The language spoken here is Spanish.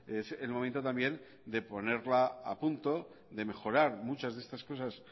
es el momento también de ponerla a punto de mejorar muchas de estas cosas